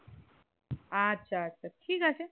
আচ্ছা আচ্ছা ঠিক আছে